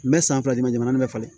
N bɛ san fila dama din bɛ falen